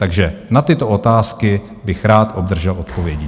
Takže na tyto otázky bych rád obdržel odpovědi.